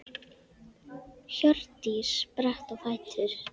Hjördís spratt á fætur.